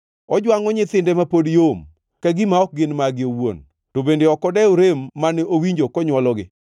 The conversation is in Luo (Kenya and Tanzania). Ojwangʼo nyithinde ma pod yom, ka gima ok gin mage owuon; to bende ok odew rem mane owinjo konywologi;